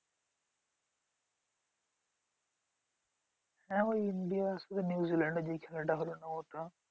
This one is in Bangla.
হ্যাঁ ওই India র সাথে new zealand এর যেই খেলাটা হলো ওটা।